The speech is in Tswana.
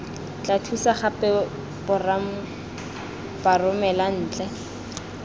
tla thusa gape baromela ntle